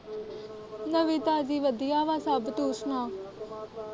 ਨਵੀ ਤਾਜ਼ੀ ਵਧੀਆ ਵਾਂ ਸਭ ਤੂੰ ਸੁਣਾ।